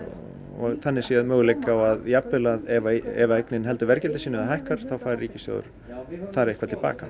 og þannig séð möguleika ef að eignin heldur verðgildi sínu eða hækkar þá fær ríkissjóður eitthvað til baka